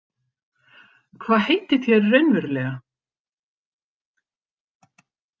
Hvað heitið þér raunverulega?